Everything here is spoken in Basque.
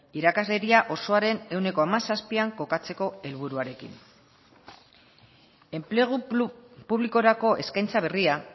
irakasleria osoaren ehuneko hamazazpian kokatzeko helburuarekin enplegu publikorako eskaintza berria